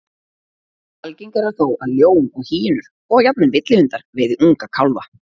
Algengara er þó að ljón og hýenur, og jafnvel villihundar, veiði unga kálfa.